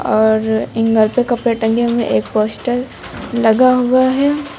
और एंगल पे कपड़े टांगे हुए हैं एक पोस्टर लगा हुआ है।